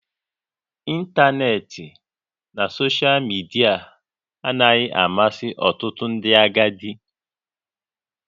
Ịntanetị na soshal midia anaghị amasị ọtụtụ ndị agadi